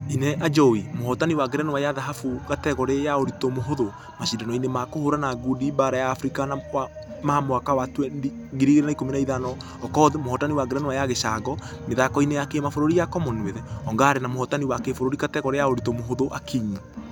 ......ĩna ajowi ,mũhotani wa ngerenwa ya dhahabu kategore ya ũritũ mũhũthũ mashidano-inĩ ma kũhũrana ngundi baara ya africa ma mwaka wa 2015 okoth. Mũhotani wa ngerenwa ya gĩcango. mĩthako-inĩ ya kĩmabũrũri ya commonwealth ongare na mũhotani wa kĩbũrũri kategore ya ũritũ mũhũthũ akinyi.